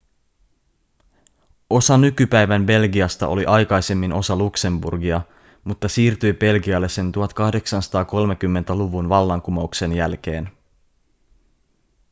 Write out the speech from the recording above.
osa nykypäivän belgiasta oli aikaisemmin osa luxemburgia mutta siirtyi belgialle sen 1830-luvun vallankumouksen jälkeen